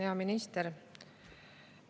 Hea minister!